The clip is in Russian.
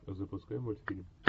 запускай мультфильм